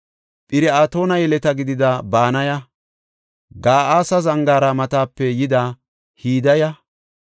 Phir7atoona yeleta gidida Banaya, Ga7aasa zangaara matape yida Hidaya,